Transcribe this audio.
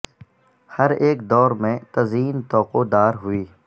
ہر ایک دور میں تزئین طوق و دار ہوئی